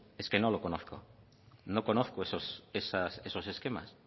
es que no lo conozco no conozco esos esquemas